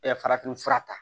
farafinfura ta